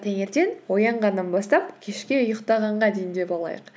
таңертең оянғаннан бастап кешке ұйықтағанға дейін деп алайық